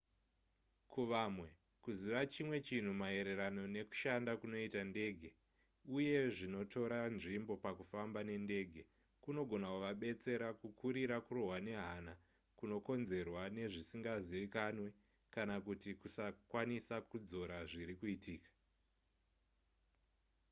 kuvamwe kuziva chimwe chinhu maererano nekushanda kunoita ndege uye zvinotora nzvimbo pakufamba nendege kunogona kuvabetsera kukurira kurohwa nehana kunokonzerwa nezvisingazivikanwe kana kuti kusakwanisa kudzora zviri kuitika